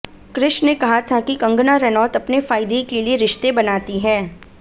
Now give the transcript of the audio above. क्रिश ने कहा था कि कंगना रनौत अपने फायदे के लिए रिश्ते बनाती हैं